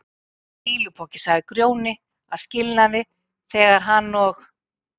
Þú ert bara fýlupoki, sagði Grjóni að skilnaði þegar hann og